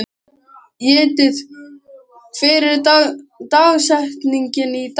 Judith, hver er dagsetningin í dag?